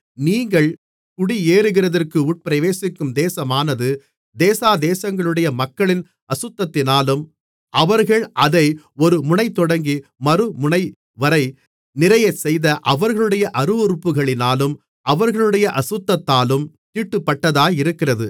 நீங்கள் குடியேறுகிறதற்கு உட்பிரவேசிக்கும் தேசமானது தேசாதேசங்களுடைய மக்களின் அசுத்தத்தினாலும் அவர்கள் அதை ஒரு முனைதொடங்கி மறுமுனைவரை நிறையச் செய்த அவர்களுடைய அருவருப்புகளினாலும் அவர்களுடைய அசுத்தத்தாலும் தீட்டுப்பட்டதாயிருக்கிறது